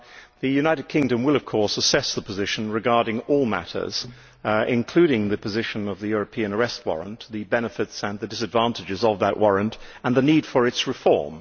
The United Kingdom will of course assess the position regarding all matters, including the position of the European Arrest Warrant, the benefits and the disadvantages of that warrant, and the need for its reform.